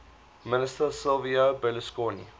minister silvio berlusconi